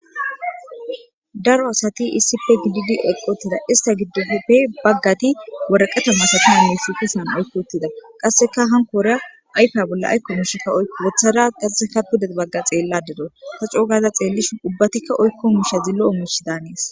Daro asati issife gidid eqotida ista giddoppe baggati woraqato musati misikisan aykkotida qasseka hankoora ayfa bolla aykko mushikka wothara qasseka pudet bagga xeella dedo ta coogaza xeellishin ubbatikka oykko mushazi lo7o mush daanees.